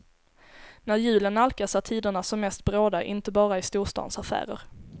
När julen nalkas är tiderna som mest bråda inte bara i storstans affärer.